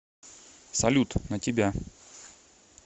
салют на тебя